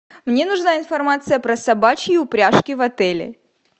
мне нужна информация про собачьи упряжки в отеле